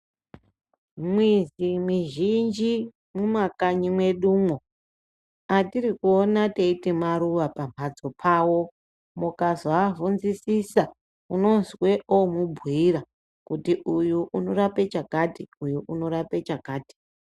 Mwizi mwizhinji mumakanyi mwedumwo, atiri kuona teiti maruwa pawo, mukazoabvunzisisa, unozwe omubhiira, kuti uyu unorape chakati ,uyu unorape chakati.